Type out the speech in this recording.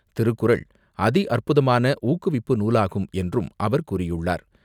திருக்குறள் அதி அற்புதமான ஊக்குவிப்பு நூலாகும் என்றும், அவர் கூறியுள்ளார்.